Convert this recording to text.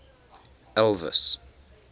elvis